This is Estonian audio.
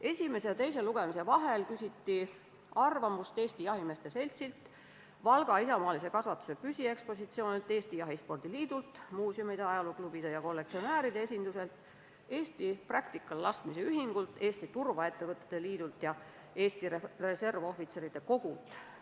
Esimese ja teise lugemise vahel küsiti arvamust Eesti Jahimeeste Seltsilt, Valga Isamaalise Kasvatuse Püsiekspositsioonilt, Eesti Jahispordi Liidult, muuseumide, ajalooklubide ja kollektsionääride esindustelt, Eesti Practical-laskmise Ühingult, Eesti Turvaettevõtete Liidult ja Eesti Reservohvitseride Kogult.